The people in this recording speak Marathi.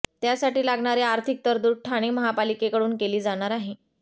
त्यासाठी लागणारी आर्थिक तरतूद ठाणे महापालिकेकडून केली जाणार आहे